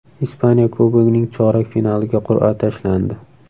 Ispaniya Kubogining chorak finaliga qur’a tashlandi.